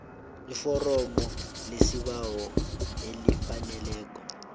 iforomo lesibawo elifaneleko